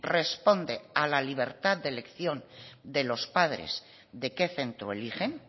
responde a la libertad de elección de los padres de qué centro eligen